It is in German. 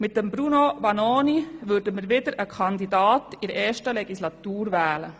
Mit Bruno Vanoni würden wir wieder einen Kandidaten in der ersten Legislatur wählen.